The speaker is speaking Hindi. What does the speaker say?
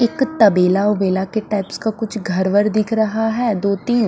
एक तबेला वबेला के टाइप्स का कुछ घर वर दिख रहा है दो तीन--